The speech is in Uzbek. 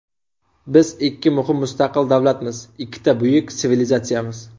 Biz ikki muhim mustaqil davlatmiz, ikkita buyuk sivilizatsiyamiz.